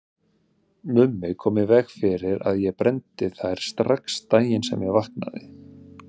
Mummi kom í veg fyrir að ég brenndi þær strax daginn sem ég vaknaði.